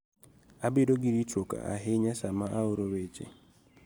Abedo gi ritruok ahinya sama aoro weche